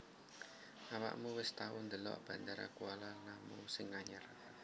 Awakmu wis tau ndelok Bandara Kuala Namu sing anyar